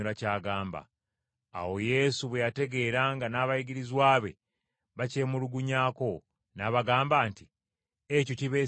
Awo Yesu bwe yategeera nga n’abayigirizwa be bakyemulugunyako, n’abagamba nti, “Ekyo kibeesittaza?